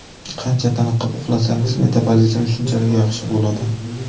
Qancha tiniqib uxlasangiz, metabolizm shunchalik yaxshi bo‘ladi.